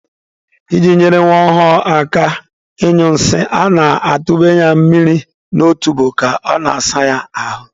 I ji nyere nwa ọhụrụ aka ịnyụ nsị, a na-atụnye ya mmiri n'otubo ka a na-asa ya ahụ.